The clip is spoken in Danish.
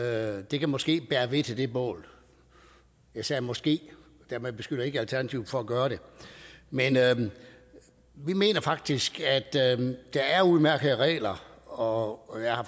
at det måske kan bære ved til det bål jeg sagde måske og dermed beskylder jeg ikke alternativet for at gøre det men vi mener faktisk at der er udmærkede regler og og jeg har